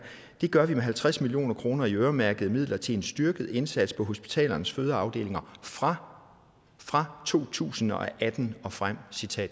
det gør vi med halvtreds million kroner i øremærkede midler til en styrket indsats på hospitalernes fødeafdelinger fra fra to tusind og atten og frem